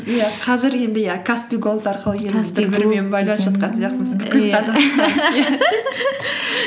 иә қазір енді иә каспи голд арқылы